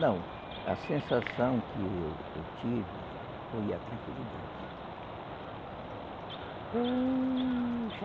Não, a sensação que eu eu tive foi a tranquilidade.